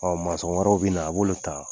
masɔn wɛrɛw bina, a b'olu ta.